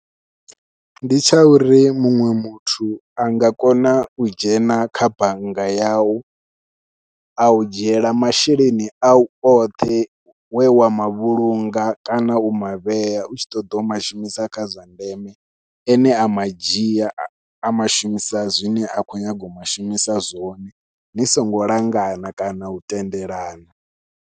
Ndi tsha uri muṅwe muthu a nga kona u dzhena kha bannga yau au dzhiela masheleni au oṱhe we wa mavhulunga kana u mavhea u tshi ṱoḓa u mashumisa kha zwa ndeme ene a madzhia a mashumisa zwine a khou nyaga u mashumisa zwone ni songo langana kana u tendelana.